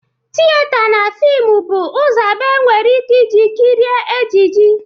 Tiyeta na fimụ bụ ụzọ abụọ enwere ike iji kirie ejiji.